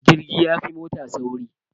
Jirgi yafi mota sauri